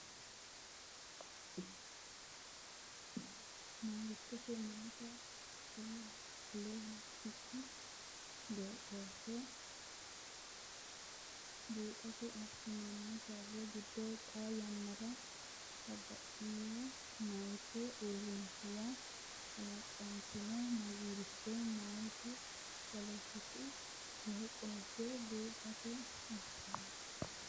Mangiste meyaate poletiku beeqqooshshe buuxate assitan- sharro giddo xaa yannara batinye meyaate uurrinshuwa kalaqantino Mangiste meyaate poletiku beeqqooshshe buuxate assitan-.